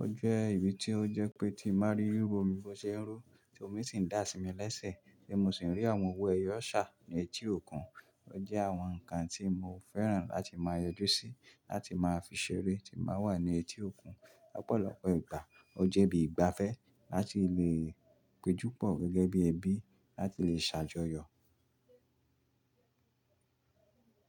O jẹ́ ibi tí ó jẹ́ pé tí n ba rí riru omi bó ṣe ń rú tí omi sì ń dà sí mi lẹ́sẹ̀ tí mo sì ń rí àwọn òwo ẹyọ ṣà ní etí òkun. O jẹ́ àwọn nǹkan tí mo fẹ́ràn láti máa yọjú sí láti máa fi ṣeré tí máa wà ní etí òkun lọ́pọ̀lọpọ̀ ìgbà. O jẹ́ ibi ìgbafẹ́ láti lè péjú pọ̀ gẹ́gẹ́ bí ẹbí láti lè ṣàjọyọ̀.